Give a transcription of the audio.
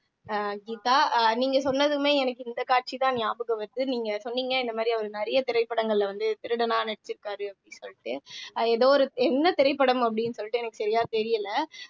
அஹ் கீதா அஹ் நீங்க சொன்னதுமே எனக்கு இந்த காட்சி காட்சிதான் ஞாபகம் வருது நீங்க சொன்னீங்க இந்த மாதிரி அவரு நிறைய திரைப்படங்கள்ல வந்து திருடனா நடிச்சிருக்காரு அப்படீன்னு சொல்லிட்டு ஏதோ ஒரு என்ன திரைப்படம் அப்படின்னு சொல்லிட்டு எனக்கு சரியா தெரியலே